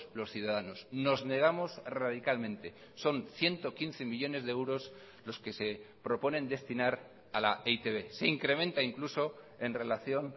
los ciudadanos nos negamos radicalmente son ciento quince millónes de euros los que se proponen destinar a la e i te be se incrementa incluso en relación